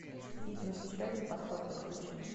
фитнес еще один подход подключи